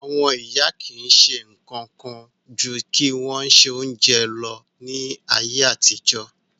Àwon ìyá ki si sé kan kan ju kí won se ounje lo ni ayéàtijọ́